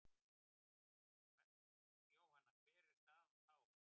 Jóhanna: Hver er staðan þá?